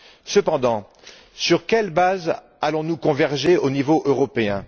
Cependant, sur quelle base allons nous converger au niveau européen?